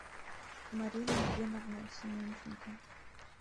марина геновна семенченко